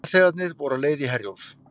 Farþegarnir voru á leið í Herjólf